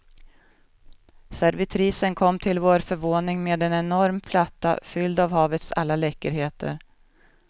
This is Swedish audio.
Servitrisen kom till vår förvåning med en enorm platta fylld av havets alla läckerheter.